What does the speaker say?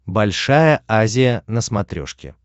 большая азия на смотрешке